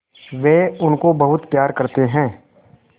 वे उनको बहुत प्यार करते हैं